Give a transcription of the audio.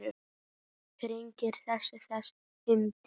Hvernig kviknaði þessi hugmynd?